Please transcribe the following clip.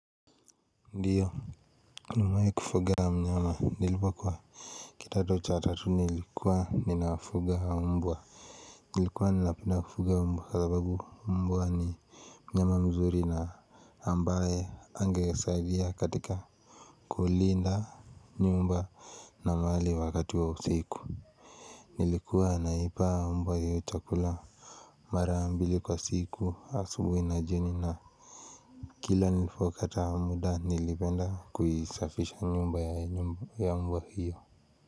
Ndiyo nimewai kufuga mnyama nilipo kuwa kitado cha tatu nilikuwa ninafuga mbwa nilikuwa nina kufuga mbwa kwa sababu mbwa ni mnyama mzuri na ambaye angesaidia katika kuulinda nyumba na mali wakati wa usiku nilikuwa na ipa mbwa hiyo chakula marambili kwa siku asubui na jioni na kila nilifo pata muda nilipenda kuisafisha nyumba ya nyumba hiyo.